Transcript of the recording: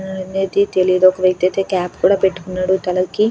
అనేది తెలీదు ఒక వ్యక్తి అయితే క్యాప్ కూడా పెట్టుకున్నాడు తలకి.